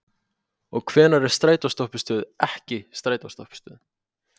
Og hvenær er strætóstoppistöð ekki strætóstoppistöð?